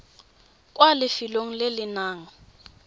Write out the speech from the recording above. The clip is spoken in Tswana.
kwa lefelong le le nang